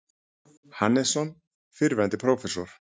Hannesson, fyrrverandi prófessor.